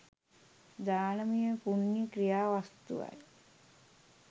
දානමය පුණ්‍ය ක්‍රියා වස්තුවයි.